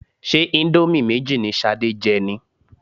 Ṣé íńdómì méjì ni Ṣadé jẹ ni?